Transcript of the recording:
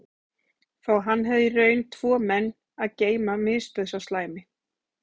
Þótt hann hefði í raun tvo menn að geyma misbauð sá slæmi